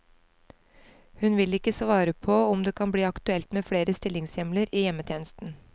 Hun vil ikke svare på om det kan bli aktuelt med flere stillingshjemler i hjemmetjenesten.